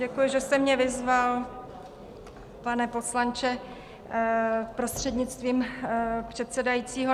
Děkuji, že jste mě vyzval, pane poslanče, prostřednictvím předsedajícího.